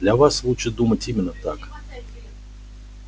для вас лучше думать именно так